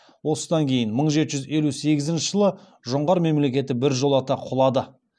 осыдан кейін мың жеті жүз елу сегізінші жылы жоңғар мемлекеті біржолата құлады